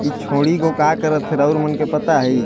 इ छोड़ी गो का करथ हे राउल मन के पता इ --